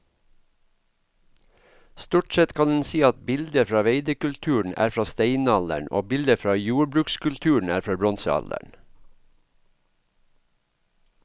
Stort sett kan en si at bilder fra veidekulturen er fra steinalderen og bilder fra jordbrukskulturen er fra bronsealderen.